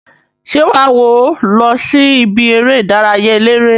Se waa wo losi ibi ere idaraya elere?